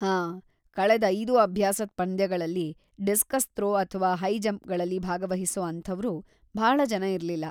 ಹಾಂ, ಕಳೆದ್ ಐದೂ ಅಭ್ಯಾಸದ್‌ ಪಂದ್ಯಗಳಲ್ಲಿ ಡಿಸ್ಕಸ್‌ ಥ್ರೋ ಅಥ್ವಾ ಹೈ ಜಂಪ್‌ಗಳಲ್ಲಿ ಭಾಗವಹಿಸೋ ಅಂಥವ್ರು ಭಾಳ ಜನ ಇರ್ಲಿಲ್ಲ.